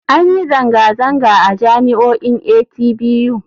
An yi zanga-zanga a jami'o'in atbu.